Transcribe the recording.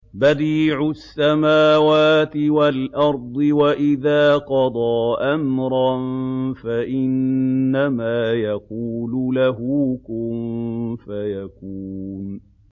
بَدِيعُ السَّمَاوَاتِ وَالْأَرْضِ ۖ وَإِذَا قَضَىٰ أَمْرًا فَإِنَّمَا يَقُولُ لَهُ كُن فَيَكُونُ